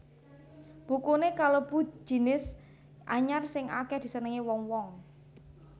Bukuné kalebu jinis anyar sing akèh disenengi wong wong